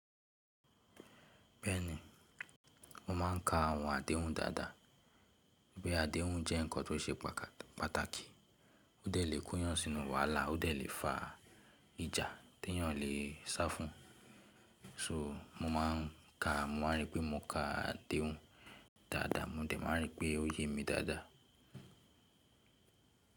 Bẹ́ẹ̀ni, mo máa ń ka àwọn àdéhùn dáadáa. Bí àdéhùn jẹ́ ǹkan tó ṣe pàtàkì, ó de lè kó'yàn sínú wàhálà, ó de lè fa ìjà tí èèyàn lè sá fún. So mo máa ń ka, mo máa ń rí pé mo ka àdéhùn dáadáa, mo dẹ̀ máa ń rí pé ó yé mi dáadáa.